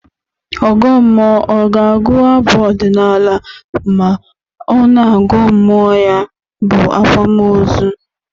Ọgọ mmụọ ọ ga-agụ abụ ọdịnaalụ ma ọ na-agụọ mmụọ ya bụ akwamaozu?